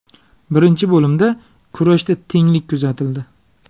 Birinchi bo‘limda kurashda tenglik kuzatildi.